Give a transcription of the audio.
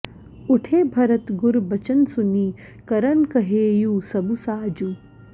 उठे भरत गुर बचन सुनि करन कहेउ सबु साजु